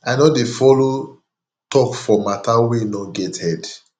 i no dey folo tok for mata wey no get head